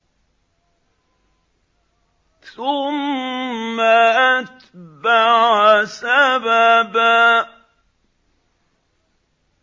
ثُمَّ أَتْبَعَ سَبَبًا